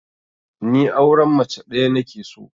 Ni auren mace ɗaya nake so